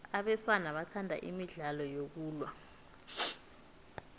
abesana bathanda imidlalo yokulwa